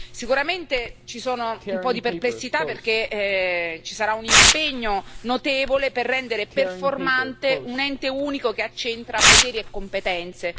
Sicuramente ci sono un po' di perplessità, perché ci sarà un impegno notevole per rendere performante un ente unico che accentra poteri e competenze.